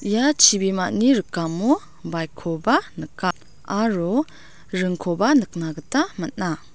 ia chibimani rikamo baik koba nika aro ringkoba nikna gita man·a.